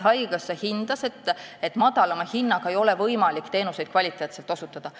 Haigekassa hindas, et madalama hinnaga ei ole võimalik teenuseid kvaliteetselt osutada.